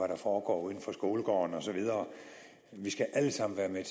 der foregår uden for skolegården og så videre vi skal alle sammen være med